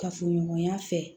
Kafoɲɔgɔnya fɛ